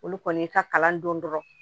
Olu kɔni y'i ka kalan don dɔrɔnw